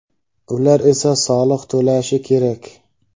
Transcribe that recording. ular esa soliq to‘lashi kerak.